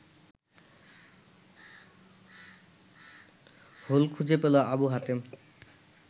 whole খুঁজে পেল আবু হাতেম